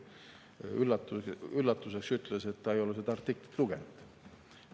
Minu üllatuseks ütles ta, et ta ei ole seda artiklit lugenud.